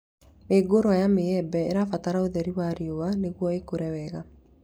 Mĩũngũrwa ya mĩembe ĩbataraga ũtheri wa riũa nĩguo ĩkũre wega